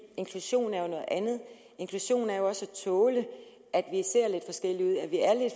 inklusion er noget andet inklusion er jo også at tåle at vi ser lidt